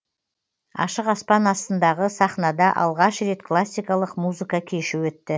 ашық аспан астындағы сахнада алғаш рет классикалық музыка кеші өтті